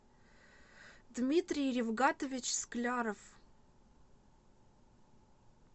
дмитрий рифгатович скляров